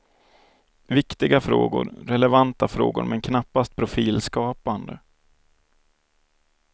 Viktiga frågor, relevanta frågor men knappast profilskapande.